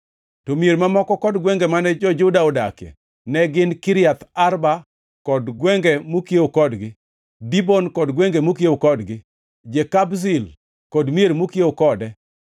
To mier mamoko kod gwenge mane jo-Juda odakie ne gin Kiriath Arba kod gwenge mokiewo kodgi, Dibon kod gwenge mokiewo kodgi, Jekabzil kod mier mokiewo kode,